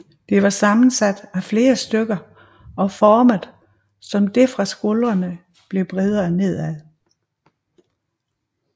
Det var sammensat af flere stykker og formet så det fra skuldrene blev bredere nedad